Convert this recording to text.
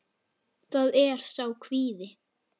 Það er sá kvíði.